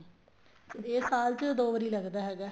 ਇਹ ਸਾਲ ਚ ਦੋ ਵਾਰੀ ਲੱਗਦਾ ਹੈਗਾ